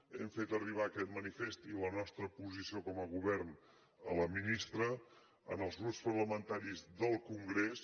hem fet arribar aquest manifest i la nostra posició com a govern a la ministra als grups parlamentaris del congrés